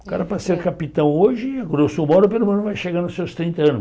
O cara para ser capitão hoje, a grosso modo, pelo menos vai chegar nos seus trinta anos.